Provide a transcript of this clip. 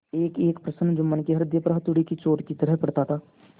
एकएक प्रश्न जुम्मन के हृदय पर हथौड़े की चोट की तरह पड़ता था